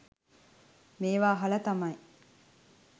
මේව අහල තමයි